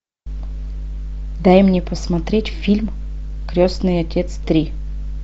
дай мне посмотреть фильм крестный отец три